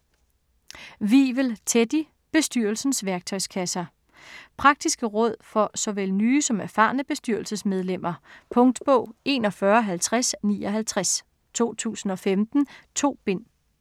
Wivel, Teddy: Bestyrelsens værktøjskasse Praktiske råd for såvel nye som erfarne bestyrelsesmedlemmer. Punktbog 415059 2015. 2 bind.